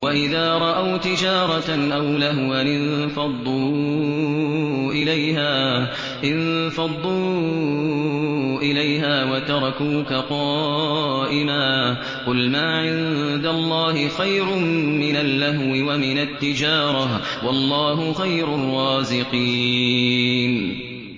وَإِذَا رَأَوْا تِجَارَةً أَوْ لَهْوًا انفَضُّوا إِلَيْهَا وَتَرَكُوكَ قَائِمًا ۚ قُلْ مَا عِندَ اللَّهِ خَيْرٌ مِّنَ اللَّهْوِ وَمِنَ التِّجَارَةِ ۚ وَاللَّهُ خَيْرُ الرَّازِقِينَ